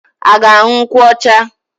Ị ga-aṅụ nkwụ ọcha?